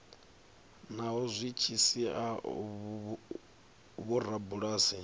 naho zwi tshi sia vhorabulasi